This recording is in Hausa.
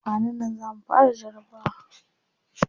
Kwanan nan za mu fara jarabawa.